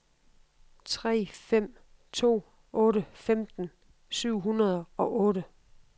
tre fem to otte femten syv hundrede og otte